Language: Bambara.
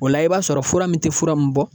O la i b'a sɔrɔ fura min tɛ fura min bɔ